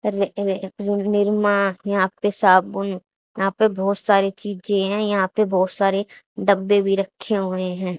निरमा यहां पे साबुन यहां पे बहोत सारी चीजें हैं यहां पे बहोत सारे डब्बे भी रखे हुए हैं।